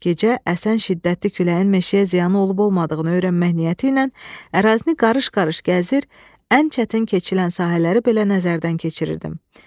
Gecə əsən şiddətli küləyin meşəyə ziyanı olub-olmadığını öyrənmək niyyəti ilə ərazini qarış-qarış gəzir, ən çətin keçilən sahələri belə nəzərdən keçirirdim.